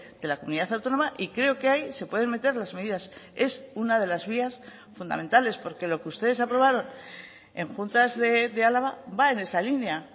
de la comunidad autónoma y creo que ahí se pueden meter las medidas es una de las vías fundamentales porque lo que ustedes aprobaron en juntas de álava va en esa línea